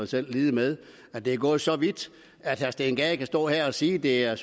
selv lide med at det er gået så vidt at herre steen gade kan stå her og sige at det er